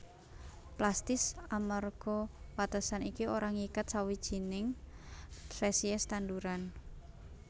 Plastis amarga watesan iki ora ngiket sawijining spesies tanduran